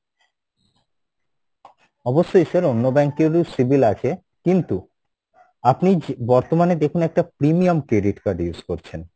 অবশ্যই sir অন্য bank এর ও civil আছে কিন্তু আপনি যে বর্তমানে দেখুন একটা premium credit card use করছেন,